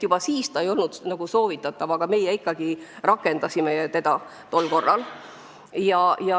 Juba siis see ei olnud soovitatav, aga meie ikkagi rakendasime selle.